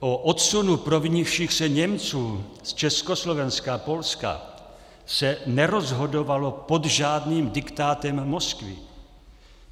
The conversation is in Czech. O odsunu provinivších se Němců z Československa a Polska se nerozhodovalo pod žádným diktátem Moskvy.